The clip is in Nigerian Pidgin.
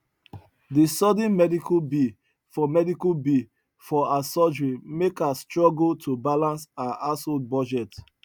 di sudden medical bill for medical bill for her surgery mek her struggle to balance her household budget